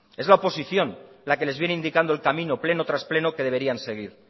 es la oposición las que les viene indicando el camino pleno tras pleno que deberían seguir